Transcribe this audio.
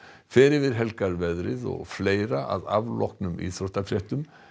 fer yfir helgarveðrið og fleira að afloknum íþróttafréttum